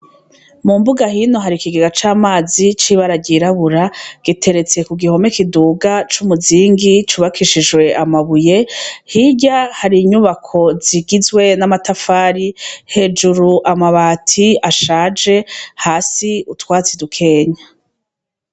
Mu mbuga hino hari ikigega c'amazi cibara ryirabura giteretse ku gihome kiduga c'umuzingi cubakishishwe amabuye hirya hari inyubako zigizwe n'amatafari hejuru amabati ashaje hasi utwatsi dukenya.